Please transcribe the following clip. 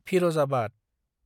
Firozabad